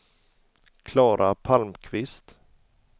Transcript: Klara Palmqvist